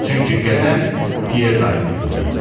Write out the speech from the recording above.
Çünki qədəh Pyer dayının idi.